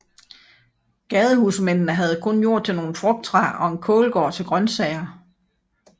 Gadehusmændene havde kun jord til nogle frugttræer og en kålgård til grøntsager